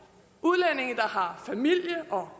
år har familie og